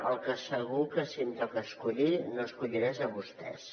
el que segur que si em toca escollir no escolliré és a vostès